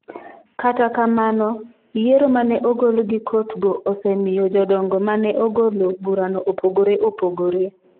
Kata kamano, yiero ma ne ogol gi kotgo osemiyo jodongo ma ne ogolo burano opogore opogore.